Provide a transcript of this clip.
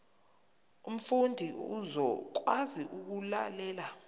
umfundi uzokwazi ukulalela